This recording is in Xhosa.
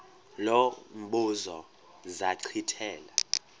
lo mbuzo zachithela